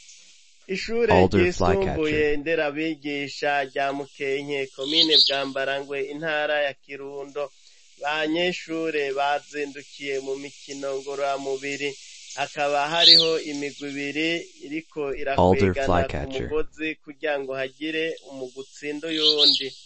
Ishure ryisumbuye nderabigisha rya Mukenke komine Bwambarangwe intara ya Kirundo. Abanyeshure bazindukiye mu mikino ngorora mubiri, hakaba hariho imirwi ibiri iriko irakwegana ku mugozi kugirango hagire umurwi utsinda uwundi.